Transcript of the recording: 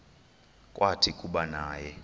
kwathi kuba naye